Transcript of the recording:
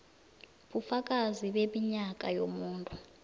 bufakazi beminyaka yomuntu